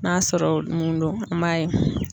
N'a sɔrɔ mun do an b'a ye.